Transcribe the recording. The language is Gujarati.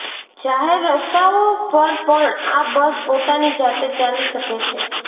જાહેર રસ્તાઓ પર પણ આ બસ પોતાની જાતે ચાલી શકે છે